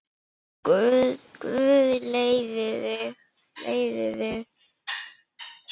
Guð leiði þig.